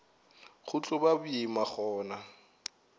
go tlo ba boima gona